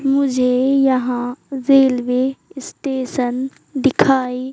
मुझे यहाँ railway station दिखाइ--